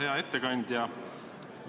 Hea ettekandja!